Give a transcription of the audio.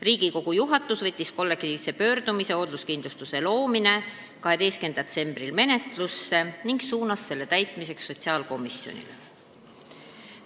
Riigikogu juhatus võttis kollektiivse pöördumise "Hoolduskindlustuse loomine" 12. septembril menetlusse ning saatis selle sotsiaalkomisjonile.